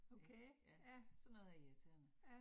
Ja, ja, sådan noget er irriterende